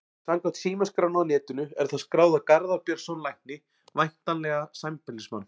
Samkvæmt símaskránni á netinu er það skráð á Garðar Björnsson lækni, væntanlega sambýlismann